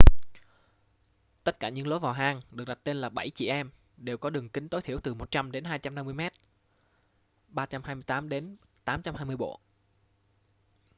tất cả những lối vào hang được đặt tên là bảy chị em” đều có đường kính tối thiểu từ 100 đến 250 mét 328 đến 820 bộ